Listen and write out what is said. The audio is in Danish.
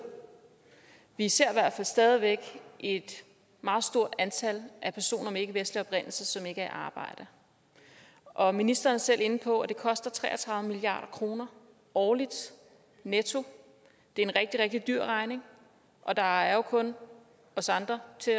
vi ser i hvert fald stadig væk et meget stort antal personer af ikkevestlig oprindelse som ikke er i arbejde og ministeren er selv inde på at det koster tre og tredive milliard kroner årligt netto det er en rigtig rigtig stor regning og der er jo kun os andre til